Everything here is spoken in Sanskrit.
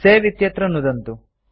सवे इत्यत्र नुदन्तु